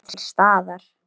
Að vera til staðar.